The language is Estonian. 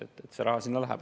Nii et see raha sinna läheb.